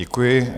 Děkuji.